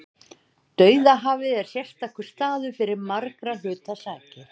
Dauðahafið er sérstakur staður fyrir margra hluta sakir.